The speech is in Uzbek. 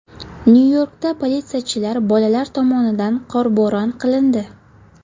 Nyu-Yorkda politsiyachilar bolalar tomonidan qorbo‘ron qilindi .